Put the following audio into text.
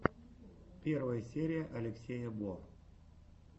первая серия алексея бо